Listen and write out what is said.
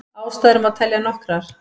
Ástæður má telja nokkrar.